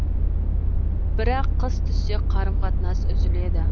бірақ қыс түссе қарым қатынас үзіледі